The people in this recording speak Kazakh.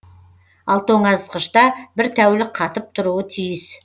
ал тоңазытқышта бір тәулік қатып тұруы тиіс